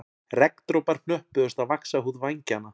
Regndropar hnöppuðust á vaxhúð vængjanna